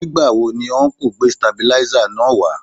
Nígbà wo ni ọnkú gbé sitabiláísà náà wá